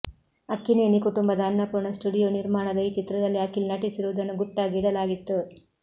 ಅಕ್ಕಿನೇನಿ ಕುಟುಂಬದ ಅನ್ನಪೂರ್ಣ ಸ್ಟುಡಿಯೋ ನಿರ್ಮಾಣದ ಈ ಚಿತ್ರದಲ್ಲಿ ಅಖಿಲ್ ನಟಿಸಿರುವುದನ್ನು ಗುಟ್ಟಾಗಿ ಇಡಲಾಗಿತ್ತು